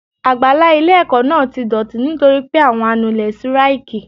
Àgbàlá ilé ẹ̀kọ́ náà ti dọ̀tí nítorí pé àwọn anulé síráìkì.